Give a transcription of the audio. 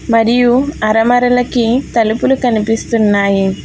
మరియు అరమరలకి తలుపులు కనిపిస్తున్నాయి.